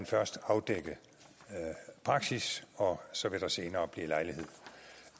først afdække praksis og så vil der senere blive lejlighed